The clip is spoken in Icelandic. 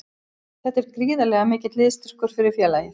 Þetta er gríðarlega mikill liðsstyrkur fyrir félagið.